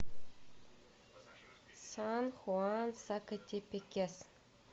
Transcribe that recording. сан хуан сакатепекес